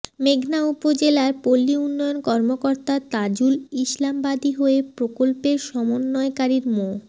মেঘনা উপজেলার পল্লী উন্নয়ন কর্মকর্তা তাজুল ইসলাম বাদী হয়ে প্রকল্পের সমন্বয়কারীর মো